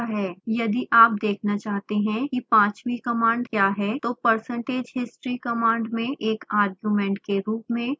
यदि आप देखना चाहते हैं कि पांचवीं कमांड क्या है तो percentage history कमांड में एक आर्ग्युमेंट के रूप में 5 पास करें